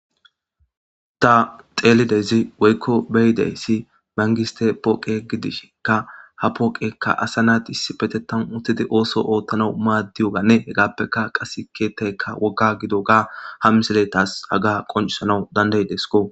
Ta xeelidezi woykko beyidey si bangiste pooqe gidishkka ha pooqekka asa naati issifete tan uttidi ooso oothtana maaddiyoganne hegaappeka qas keettaykka wogga gido ga ha miseletas aga qoncisanawu dandayidesko.